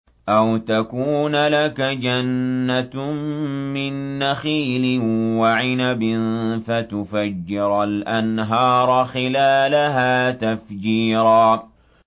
أَوْ تَكُونَ لَكَ جَنَّةٌ مِّن نَّخِيلٍ وَعِنَبٍ فَتُفَجِّرَ الْأَنْهَارَ خِلَالَهَا تَفْجِيرًا